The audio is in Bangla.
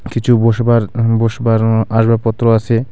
কিছু বসবার হুম বসবার উম আসবাবপত্র আছে.